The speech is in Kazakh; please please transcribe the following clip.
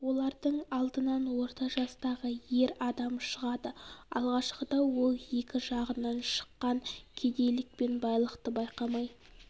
олардың алдынан орта жастағы ер адам шығады алғашқыда ол екі жағынан шыққан кедейлік пен байлықты байқамай